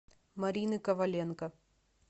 марины коваленко